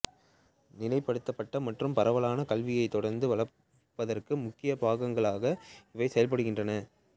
நிலைப்படுத்தப்பட்ட மற்றும் பரவலான கல்வியைத் தொடர்ந்து வளர்ப்பதற்கு முக்கியப்பங்காக இவை செயல்படுகின்றன